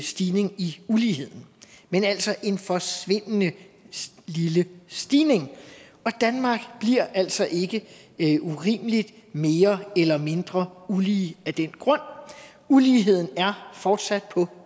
stigning i uligheden men altså en forsvindende lille stigning og danmark bliver altså ikke ikke urimelig mere eller mindre ulige af den grund uligheden er fortsat på